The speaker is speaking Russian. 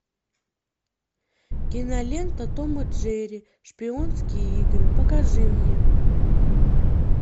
кинолента том и джерри шпионские игры покажи мне